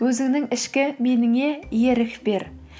өзіңнің ішкі меніне ерік бер